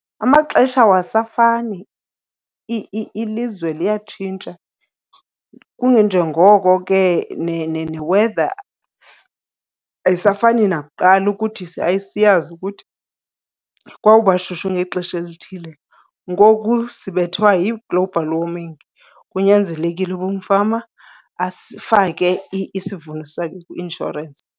Amaxesha awasafani, ilizwe liyatshintsha kunganjengoko ke ne-weather ayisafani nakuqala ukuthi sasiyazi ukuthi kwawuba shushu ngexesha elithile. Ngoku sibethwa yi-global warming, kunyanzelekile uba umfama asifake isivuno sakhe kwi-inshorensi.